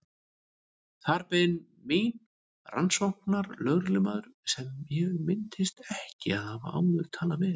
Þar beið mín rannsóknarlögreglumaður sem ég minntist ekki að hafa áður talað við.